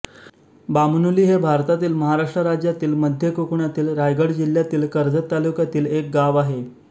बामनोली हे भारतातील महाराष्ट्र राज्यातील मध्य कोकणातील रायगड जिल्ह्यातील कर्जत तालुक्यातील एक गाव आहे